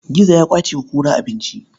Gizo ya ƙwace wa kura abinci.